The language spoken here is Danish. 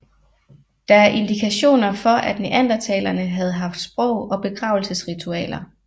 Der er indikationer for at neandertalerne havde haft sprog og begravelsesritualer